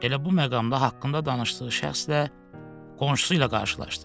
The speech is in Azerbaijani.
Elə bu məqamda haqqında danışdığı şəxslə qonşusu ilə qarşılaşdı.